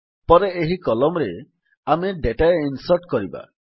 ପରେ ଏହି Columnsରେ ଆମେ ଡେଟା ଇନ୍ସର୍ଟ କରିବା